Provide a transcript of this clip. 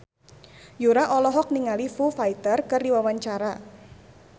Yura olohok ningali Foo Fighter keur diwawancara